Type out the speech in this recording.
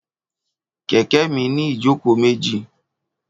Kẹ̀kẹ́ mi ní ìjókòó méjì